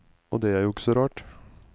Og det er jo ikke så rart.